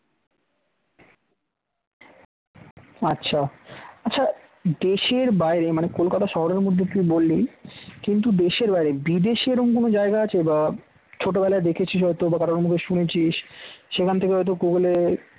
আচ্ছা আচ্ছা দেশের বাইরে মানে কলকাতা শহরের মধ্যে তুই বললি? কিন্তু দেশের বাইরে বিদেশে এরকম কোন জায়গা আছে বা ছোটবেলায় দেখেছিস হয়তো কারোর মুখে শুনেছিস সেখান থেকে হয়তো গুগল এ